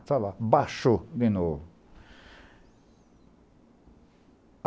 Está lá, baixou de novo.